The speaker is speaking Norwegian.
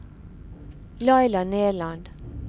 Laila Nerland